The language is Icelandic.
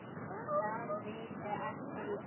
Það vita allir í dag.